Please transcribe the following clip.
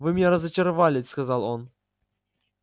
вы меня разочаровали сказал он